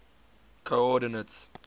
coordinates